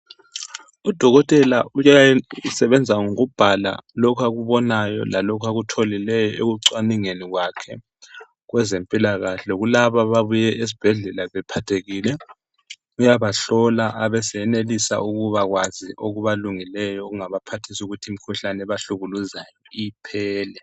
Udokotela usebenza ngokubhala lokho akubonayo lalokho akutholileyo ekucwaningeni kwakhe kwezempilakahle kulaba ababuye esibhedlela bephathekile. Uyabahlola abesenelisa ukuba kwazi okubalungeleyo okungabaphathisa ukuthi imkhuhlane ebahlukuluzayo iphele.